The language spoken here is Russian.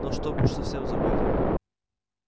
но чтобы уж совсем забыть